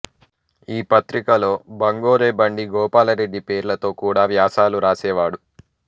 ఈ పత్రికలో బంగోరె బండి గోపాలరెడ్డి పేర్లతో కూడా వ్యాసాలు రాసేవాడు